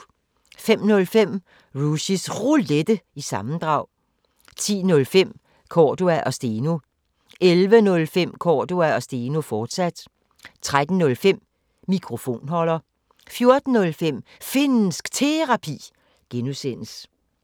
05:05: Rushys Roulette – sammendrag 10:05: Cordua & Steno 11:05: Cordua & Steno, fortsat 13:05: Mikrofonholder 14:05: Finnsk Terapi (G)